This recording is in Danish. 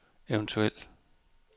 eventuel